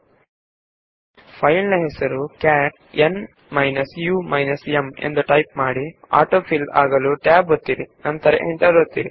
cat ನಮ್ file ನ ಹೆಸರು ತಾನಾಗಿಯೇ ಬರಲು ಟ್ಯಾಬ್ ಒತ್ತಿ ನಂತರ ಎಂಟರ್ ಒತ್ತಿ